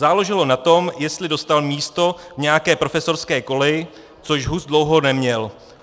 Záleželo na tom, jestli dostal místo v nějaké profesorské koleji, což Hus dlouho neměl.